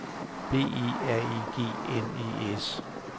B E R E G N E S